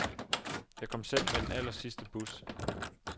Jeg kom selv med den allersidste bus.